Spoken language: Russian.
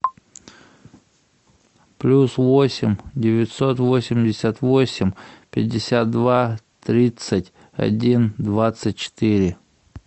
плюс восемь девятьсот восемьдесят восемь пятьдесят два тридцать один двадцать четыре